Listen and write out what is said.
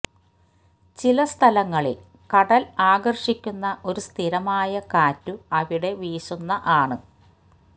ചില സ്ഥലങ്ങളിൽ കടൽ ആകർഷിക്കുന്ന ഒരു സ്ഥിരമായ കാറ്റു അവിടെ വീശുന്ന ആണ്